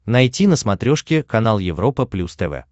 найти на смотрешке канал европа плюс тв